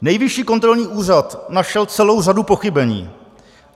Nejvyšší kontrolní úřad našel celou řadu pochybení.